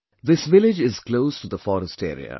This village is close to the Forest Area